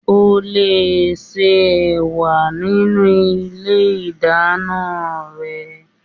O lè ṣe ẹ̀wà nínú ilé ìdáná rẹ